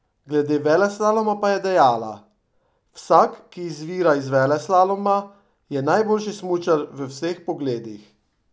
Glede veleslaloma pa je dejala: "Vsak, ki izvira iz veleslaloma, je najboljši smučar v vseh pogledih.